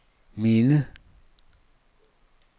minde